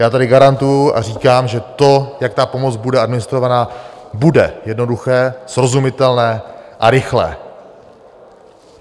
Já tady garantuji a říkám, že to, jak ta pomoc bude administrovaná, bude jednoduché, srozumitelné a rychlé.